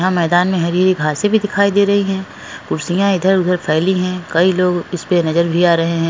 यह मैदान में हरी हरी घास भी दिखयी दे रही है कुर्सीया इधर उदर फेली हुई है कई लोग ऊसपे नज़र आ रहे है।